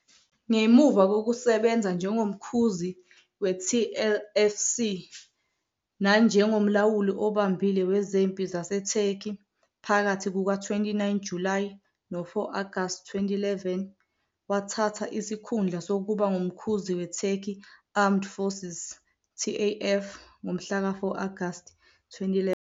Ngemuva kokusebenza njengoMkhuzi we-TLFC nanjengoMlawuli Obambile Wezempi ZaseTurkey phakathi kuka-29 Julayi no-4 Agasti 2011, wathatha isikhundla sokuba ngumkhuzi weTurkey Armed Forces, TAF, ngomhlaka 4 Agasti 2011.